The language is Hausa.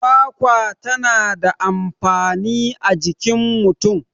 kwakwa tana da amfani a jikin mutum